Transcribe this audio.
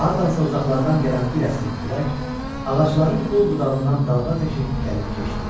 Hardansa uzaqlardan gələn bir əsim külək ağacların qol-budağından dalğa təki gəlib keçdi.